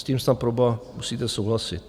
S tím snad proboha musíte souhlasit.